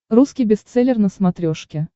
русский бестселлер на смотрешке